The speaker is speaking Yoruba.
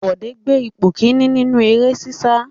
Bọ̀dé gbé ipò kìíní nínú eré sísá.